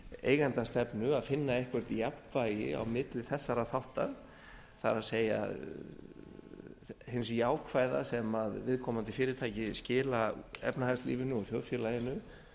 eigendastefnu að finna einhverja jafnvægi á milli þessara þátta það er hins jákvæða sem viðkomandi fyrirtæki skila efnahagslífinu og þjóðfélaginu